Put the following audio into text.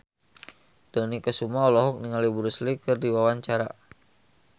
Dony Kesuma olohok ningali Bruce Lee keur diwawancara